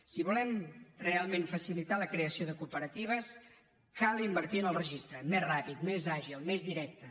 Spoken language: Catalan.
si volem realment facilitar la creació de cooperatives cal invertir en el registre més ràpid més àgil més directe